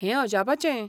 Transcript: हें अजापाचें!